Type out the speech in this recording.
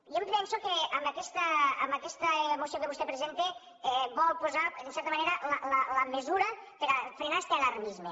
jo em penso que amb aquesta moció que vostè presenta vol posar en certa manera la mesura per a frenar este alarmisme